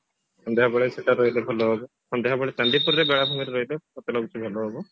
ସନ୍ଧ୍ୟାବେଳେ ସେଟା ରହିଲେ ଭଲ ହବ ସନ୍ଧ୍ୟାବେଳେ ଚାନ୍ଦିପୁରରେ ବେଳାଭୂମିରେ ରହିଲେ ମତେ ଲାଗୁଛି ଭଲ ହବ